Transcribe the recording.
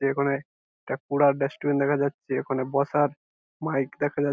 এই কোনে একটা পুরা রেস্টুরেন্ট দেখা যাচ্ছে ঐ খানে প্রচার মাইক দেখা যাচ্ছে।